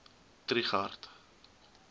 trigardt